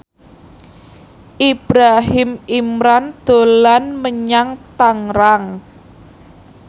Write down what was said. Ibrahim Imran dolan menyang Tangerang